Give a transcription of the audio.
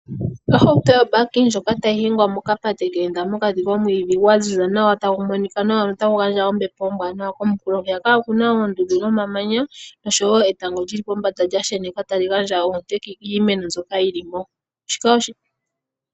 Ohauto yobaki ndjoka tayi hingwa mokapate ke enda mokati komwiidhi gwa ziza nawa, tagu monika nawa notagu gandja ombepo ombwaanawa. Komunkulo hwiyaka oku na oondundu nomamanya noshowo etango li li pombanda lya sheneka tali gandja oonte kiimeno mbyoka yi li mo.